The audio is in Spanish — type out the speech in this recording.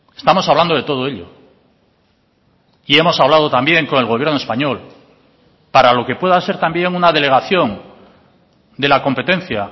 estamos hablando de todo ello y hemos hablado también con el gobierno español para lo que pueda ser también una delegación de la competencia